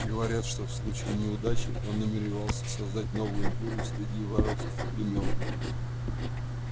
говорят что в случае неудачи он намеревался создать новую империю среди варварских племён